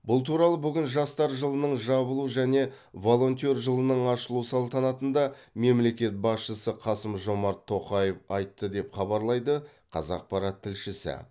бұл туралы бүгін жастар жылының жабылу және волонтер жылының ашылу салтанатында мемлекет басшысы қасым жомарт тоқаев айтты деп хабарлайды қазақпарат тілшісі